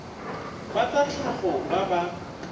ba tsa tlhago ba ba